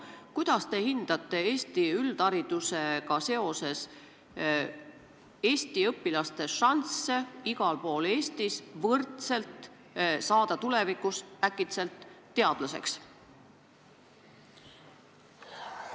Kuidas te hindate Eesti üldharidust, kas Eesti õpilastel on igal pool Eestis võrdsed võimalused saada tulevikus teadlaseks?